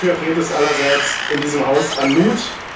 direkt stützt. Dafür fehlt es allerseits in diesem